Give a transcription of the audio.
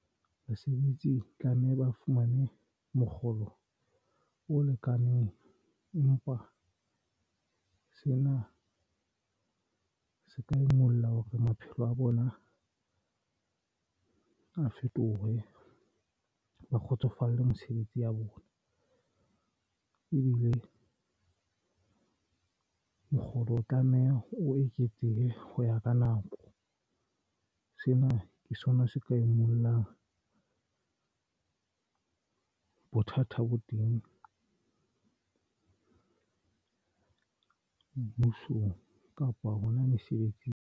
Basebetsi tlameha ba fumane mokgolo o lekaneng empa sena se ka ingolla hore maphelo a bona a fetohe ba kgotsofale mesebetsi ya bona. Ebile mokgolo o re o tlameha o eketse ho ya ka nako. Sena ke sona se ka e ngolang. Bothata bo teng ba mmusong kapa hona mesebetsing.